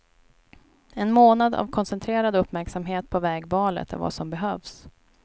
En månad av koncentrerad uppmärksamhet på vägvalet är vad som behövs.